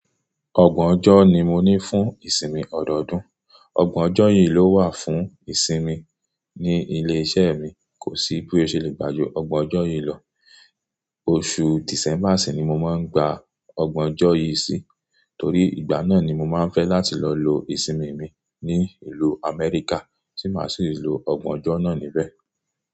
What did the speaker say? Ọgbọ̀n ọjọ́ ni mo ní fún ìsinmi ọdọọdún. Ọgbọ̀n ọjọ́ yìí ló wà fún ìsinmi ní ilé iṣẹ́ mi. Kò sí bí ó ṣe lè gbà ju ọgbọ̀n ọjọ́ yìí lọ. Oṣù December sì ni mo máa ń gba ọgbọ̀n ọjọ́ yìí sí torí ìgbà náà ni mo máa ń fẹ́ láti lọ lo ìsinmi mi ní ìlú Amẹ́ríkà tí màá sì lo ọgbọ̀n ọjọ́ náà níbẹ̀.